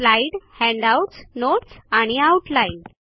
slide handouts notes आणि outline